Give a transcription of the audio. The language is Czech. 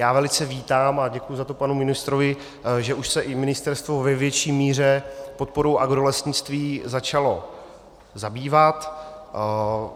Já velice vítám, a děkuji za to panu ministrovi, že už se i ministerstvo ve větší míře podporou agrolesnictví začalo zabývat.